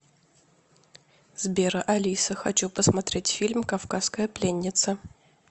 сбер алиса хочу посмотреть фильм кавказская пленница